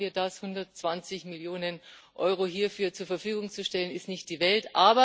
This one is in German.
Warum machen wir das? 120 Mio. EUR hierfür zur Verfügung zu stellen, ist nicht die Welt.